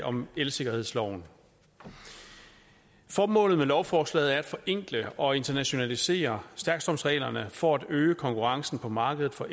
om elsikkerhedsloven formålet med lovforslaget er at forenkle og internationalisere stærkstrømsreglerne for at øge konkurrencen på markedet for